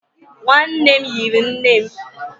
nwanne nne m yiri nne nne m.